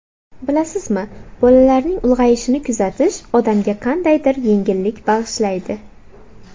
Bilasizmi, bolalarning ulg‘ayishini kuzatish odamga qandaydir yengillik bag‘ishlaydi.